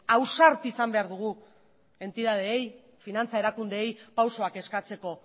ausardia izan behar dugu entitateei finantza erakundeei pausuak eskatzeko